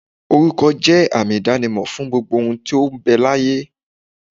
Oruko je àmì idanimo fún gbogbo ohun tí ó ń bẹ láyé.